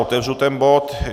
Otevřu tento bod